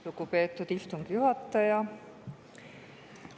Lugupeetud istungi juhataja!